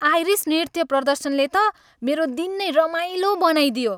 Iris नृत्य प्रदर्शनले त मेरो दिन नै रमाइलो बनाइदियो।